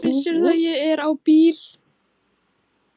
Ég er á bíl